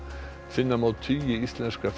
finna má tugi íslenskra